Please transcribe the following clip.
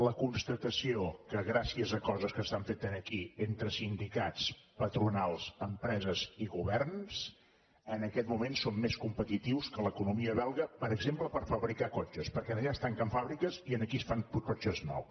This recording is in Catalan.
la constatació que gràcies a coses que s’han fet aquí entre sindicats patronals empreses i governs en aquest moment som més competitius que l’economia belga per exemple per fabricar cotxes perquè allà es tanquen fàbriques i aquí es fan cotxes nous